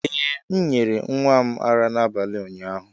Ee m nyere nwa m ara n'abalị ụnyaahụ